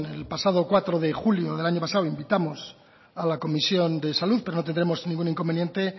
el pasado cuatro de julio del año pasado invitamos a la comisión de salud pero no tendremos ningún inconveniente